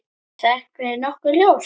Er það ekki nokkuð ljóst?